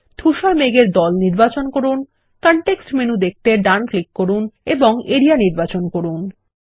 ধুসর মেঘ এর দল নির্বাচন করুন কনটেক্সট মেনু দেখতে ডান ক্লিক করুন এবং এরিয়া নির্বাচন করুন